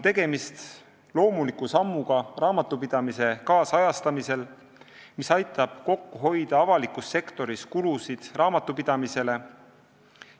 Tegemist on loomuliku sammuga raamatupidamise nüüdisajastamisel, mis aitab avalikus sektoris hoida kokku raamatupidamisele tehtavaid kulutusi.